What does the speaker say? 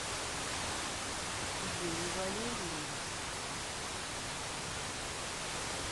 юрий валерьевич